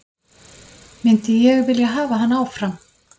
Myndi ég vilja hafa hann áfram?